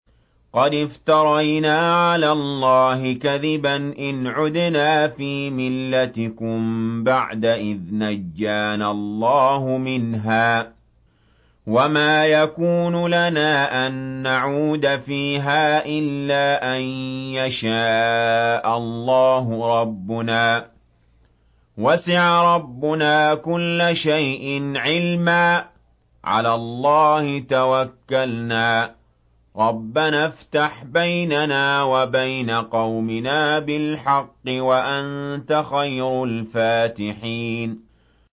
قَدِ افْتَرَيْنَا عَلَى اللَّهِ كَذِبًا إِنْ عُدْنَا فِي مِلَّتِكُم بَعْدَ إِذْ نَجَّانَا اللَّهُ مِنْهَا ۚ وَمَا يَكُونُ لَنَا أَن نَّعُودَ فِيهَا إِلَّا أَن يَشَاءَ اللَّهُ رَبُّنَا ۚ وَسِعَ رَبُّنَا كُلَّ شَيْءٍ عِلْمًا ۚ عَلَى اللَّهِ تَوَكَّلْنَا ۚ رَبَّنَا افْتَحْ بَيْنَنَا وَبَيْنَ قَوْمِنَا بِالْحَقِّ وَأَنتَ خَيْرُ الْفَاتِحِينَ